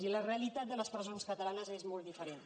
i la realitat de les presons catalanes és molt diferent